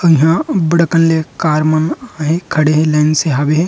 अऊ इहाँ अब्बड़ अकन ले कार मन ह खड़े हे लाइन से हवे हे ।